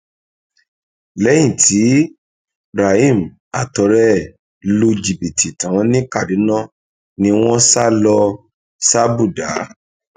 lẹyìn tí rahim àtọrẹ ẹ lu jìbìtì tán ní kaduna ni wọn sá lọ sàbúdàá